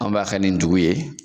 An b'a kɛ nin dugu ye.